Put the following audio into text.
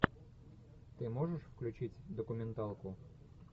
ты можешь включить документалку